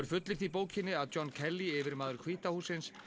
fullyrt í bókinni að John Kelly yfirmaður hvíta hússins